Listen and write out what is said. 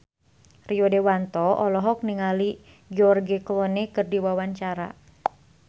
Rio Dewanto olohok ningali George Clooney keur diwawancara